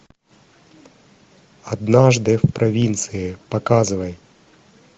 однажды в провинции показывай